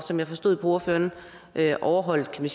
som jeg forstod ordføreren at overholde